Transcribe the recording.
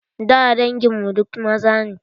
Da dangin mu duk maza ne.